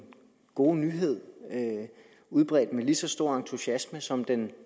gode nyhed udbredt med lige så stor entusiasme som den